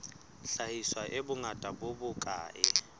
hlahiswa e bongata bo bokae